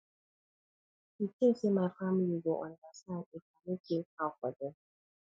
you tink sey my family go understand if i no kill cow for dem